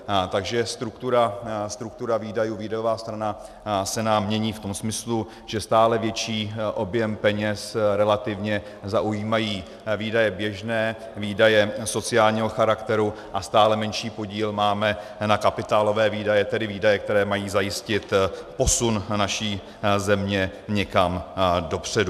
Takže struktura výdajů, výdajová strana, se nám mění v tom smyslu, že stále větší objem peněz relativně zaujímají výdaje běžné, výdaje sociálního charakteru a stále menší podíl máme na kapitálové výdaje, tedy výdaje, které mají zajistit posun naší země někam dopředu.